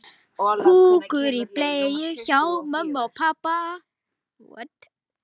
Þarna segir meðal annars: